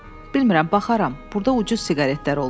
Bilmirəm, baxaram, burda ucuz siqaretlər olur.